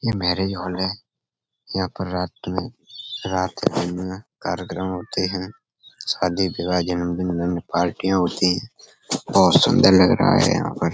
ये marriage hall है। यहाँ पर रात मे रात दिन में कार्यकर्म होते हैं। शादी विवाह जन्मदिन में पार्टियाँ होती हैं। बोहोत सुन्दर लग रहा है यहाँ पर।